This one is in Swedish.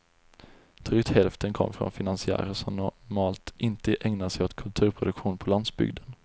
Drygt hälften kommer från finansiärer som normalt inte ägnar sig åt kulturproduktion på landsbygden.